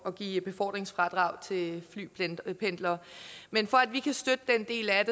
at give befordringsfradrag til flypendlere men for at vi kan støtte den del af